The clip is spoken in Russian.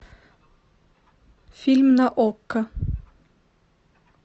фильм на окко